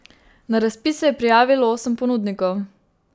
Na razpis se je prijavilo osem ponudnikov.